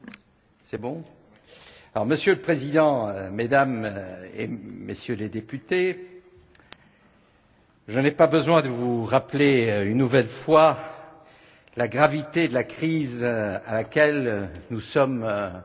Monsieur le Président, Mesdames et Messieurs les députés, je n'ai pas besoin de vous rappeler une nouvelle fois la gravité de la crise à laquelle nous sommes toujours confrontés.